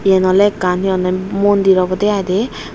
eyan oley ekkan he honney mondir obodey i dey.